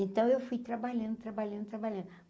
Então eu fui trabalhando, trabalhando, trabalhando.